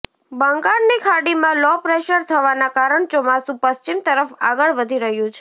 બંગાળની ખાડીમાં low pressure થવાના કારણ ચોમાસુ પશ્ચિમ તરફ આગળ વધી રહ્યું છે